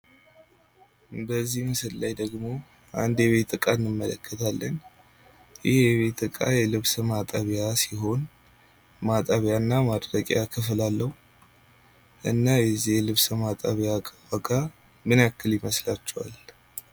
በዚህ ምስል ላይ ደግሞ አንድ የቤት እቃ እንመለከታለን ።ይህ የቤት እቃ የልብስ ማጠቢያ ሲሆን ማጠቢያና ማድረቂያ ክፍል አለው። እና የዚህ ልብስ ማጠቢያ ዋጋ ምን ያህል ይመስላችኋል ?